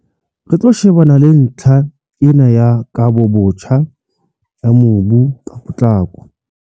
"Re tlo shebana le ntlha ena ya kabobotjha ya mobu ka potlako."